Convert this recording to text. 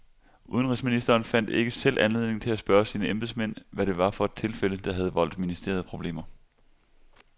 Udenrigsministeren fandt ikke selv anledning til at spørge sine embedsmænd, hvad det var for et tilfælde, der havde voldt ministeriet problemer.